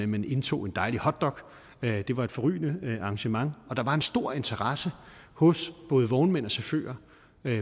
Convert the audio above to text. man indtog en dejlig hotdog det var et forrygende arrangement og der var en stor interesse hos både vognmænd og chauffører